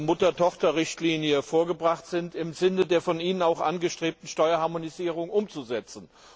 Mutter Tochter Richtlinie vorgebracht werden, im Sinne der von Ihnen angestrebten Steuerharmonisierung umzusetzen.